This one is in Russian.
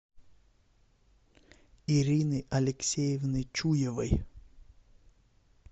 ирины алексеевны чуевой